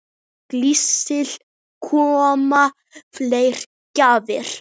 Gísli: Koma fleiri gjafir?